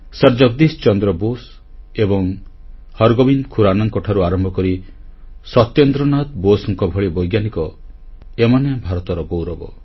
sir Jagadish Chandra Bose ଏବଂ ହରଗୋବିନ୍ଦ ଖୁରାନାଙ୍କଠାରୁ ଆରମ୍ଭ କରି ସତ୍ୟେନ୍ଦ୍ରନାଥ ବୋଷଙ୍କ ଭଳି ବୈଜ୍ଞାନିକ ଏମାନେ ଭାରତର ଗୌରବ